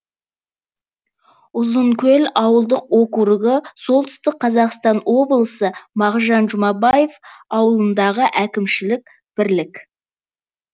ұзынкөл ауылдық округі солтүстік қазақстан облысы мағжан жұмабаев ауданындағы әкімшілік бірлік